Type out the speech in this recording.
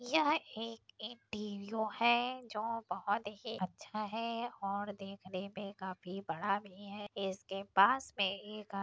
यह एक इंटेरिओ है जो बहुत ही अच्छा है और देखने मे काफी बड़ा भी है इसके पास मे एक ह --